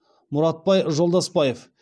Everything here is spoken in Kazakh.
мұратбай жолдасбаев